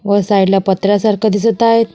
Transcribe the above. व साइड ला पत्र्यासारख दिसत आहेत.